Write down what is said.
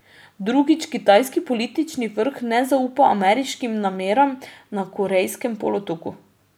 Drugič, kitajski politični vrh ne zaupa ameriškim nameram na Korejskem polotoku.